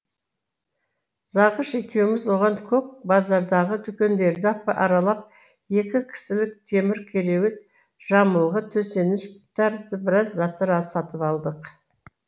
зағыш екеуміз оған көк базардағы дүкендерді аралап екі кісілік темір кереует жамылғы төсеніш тәрізді біраза заттар сатып алдық